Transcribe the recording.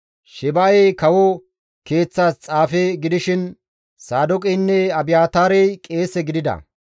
Sheba7ey kawo keeththas xaafe gidishin Saadooqeynne Abiyaataarey qeese gidida.